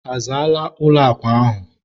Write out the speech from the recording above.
a zaala ụlọ akwa ahụ?